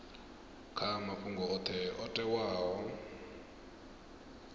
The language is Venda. kha mafhungo oṱhe o teaho